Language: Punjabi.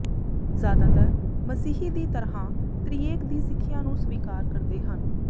ਜ਼ਿਆਦਾਤਰ ਮਸੀਹੀ ਦੀ ਤਰ੍ਹਾਂ ਤ੍ਰਿਏਕ ਦੀ ਸਿੱਖਿਆ ਨੂੰ ਸਵੀਕਾਰ ਕਰਦੇ ਹਨ